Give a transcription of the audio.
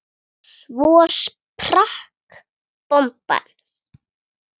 Svo sprakk bomban.